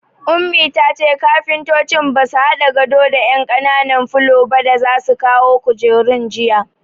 Ummi tace kafuntocin basu hado da ƴan ƙananan fulallikan ba da za su kawo kujerun jiya